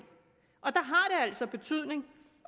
altså en betydning